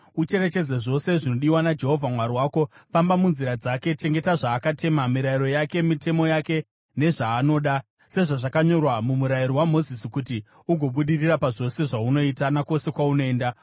ucherechedze zvose zvinodiwa naJehovha Mwari wako: Famba munzira dzake, chengeta zvaakatema, mirayiro yake, mitemo yake nezvaanoda, sezvazvakanyorwa muMurayiro waMozisi, kuti ugobudirira pazvose zvaunoita nakwose kwaunoenda.